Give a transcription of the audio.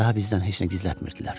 Daha bizdən heç nə gizlətmirdilər.